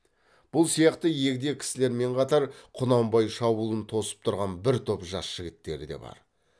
бұл сияқты егде кісілермен қатар құнанбай шабуылын тосып тұрған бір топ жас жігіттері де бар